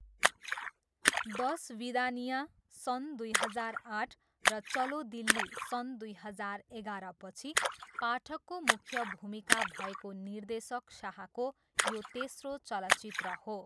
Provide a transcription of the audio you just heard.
दसविदानिया, सन् दुई हजार आठ र चलो दिल्ली, सन् दुई हजार एघारपछि पाठकको मुख्य भूमिका भएको निर्देशक शाहको यो तेस्रो चलचित्र हो।